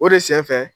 O de sen fɛ